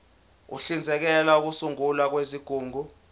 uhlinzekela ukusungulwa kwezigungu